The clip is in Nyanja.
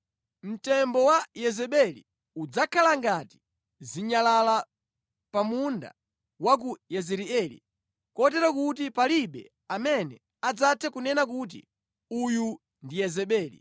Mtembo wa Yezebeli udzakhala ngati zinyalala pa munda wa ku Yezireeli, kotero kuti palibe amene adzathe kunena kuti, ‘Uyu ndi Yezebeli.’ ”